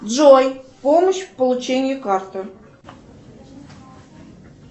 джой помощь в получении карты